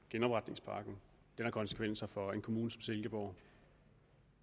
genopretningspakken har konsekvenser for en kommune som silkeborg